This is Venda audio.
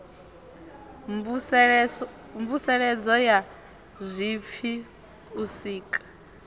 mvuseledzo ya zwipfi u sika